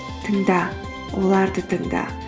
тыңда оларды тыңда